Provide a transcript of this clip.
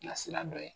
Nasira dɔ ye